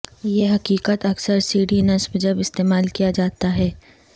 یہ حقیقت اکثر سیڑھی نصب جب استعمال کیا جاتا ہے